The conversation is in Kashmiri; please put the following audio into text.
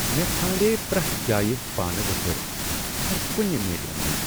مےٚ ژھانٛڑییہ پریتھ جایہ پانہٕ وتھٕر مگر کٗنہِ میلِم نہٕ ۔